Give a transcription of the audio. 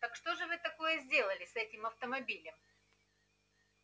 так что же вы такое сделали с этим автомобилем